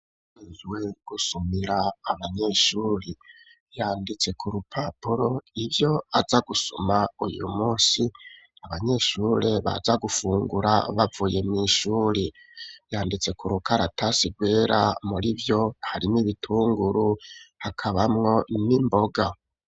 Uwujejwe gusumira abanyeshuri yanditse ku rupapuro ibyo aza gusuma uyu munsi abanyeshuri baza gufungura bavuye mw’ishuri, yanditse ku rukaratasi rwera muri vyo harimwo ibitunguru hakabamwo n'imboga.